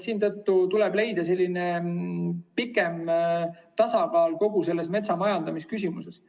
Siin tuleb leida pikem tasakaal kogu selles metsamajandamise küsimuses.